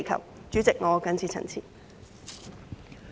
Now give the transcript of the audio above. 代理主席，我謹此陳辭。